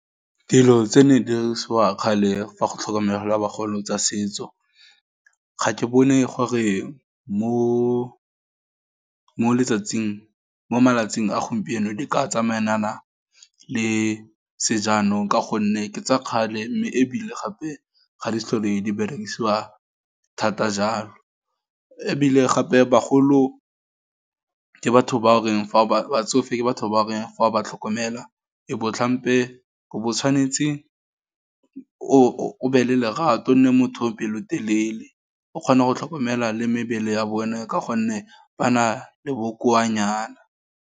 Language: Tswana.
Dilo tse ne di dirisiwa kgale go tlhokomela bagolo, tsa setso, ga ke bone gore mo malatsing a gompieno, di ka tsamaya nana le sejanong, ka gonne ke tsa kgale, mme ebile gape, ga le so le di berekisiwa thata jalo, ebile gape bagolo, ke batho ba o reng fa batsofe batho ba reng fa o ba tlhokomela, e bo tlhampe, o bo o tshwanetse, o be le lerato, o nne motho o pelotelele, o kgona go tlhokomela le mebele ya bona, ka gonne ba na le bokoa nyana.